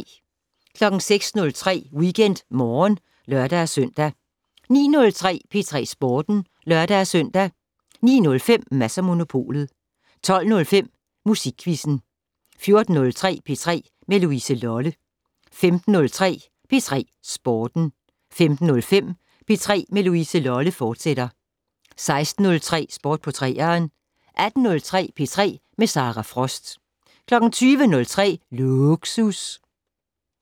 06:03: WeekendMorgen (lør-søn) 09:03: P3 Sporten (lør-søn) 09:05: Mads & Monopolet 12:05: Musikquizzen 14:03: P3 med Louise Lolle 15:03: P3 Sporten 15:05: P3 med Louise Lolle, fortsat 16:03: Sport på 3'eren 18:03: P3 med Sara Frost 20:03: Lågsus